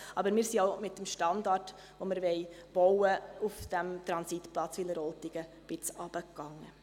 Aber: Wir sind auch mit dem Standard, den wir auf diesem Transitplatz Wileroltigen bauen wollen, etwas runtergegangen.